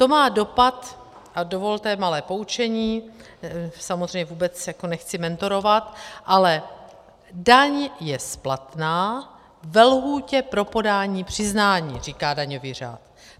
To má dopad, a dovolte malé poučení, samozřejmě vůbec nechci mentorovat, ale daň je splatná ve lhůtě pro podání přiznání, říká daňový řád.